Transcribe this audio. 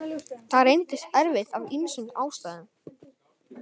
Það reyndist erfitt af ýmsum ástæðum.